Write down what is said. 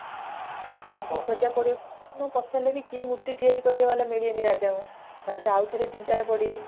ତାଙ୍କୁ ଖୋଜା ପଡିବ କେତେ ଜଣଙ୍କୁ ପଚାରିଲେ ବି କେହି ମୂର୍ତି ତିଆରି କରିଲା ଵାଲା ମିଳିବେନି ରାଜାଙ୍କୁ ରାଜା ଆଉ ଥରେ ଚିନ୍ତା ରେ ପଡିବେ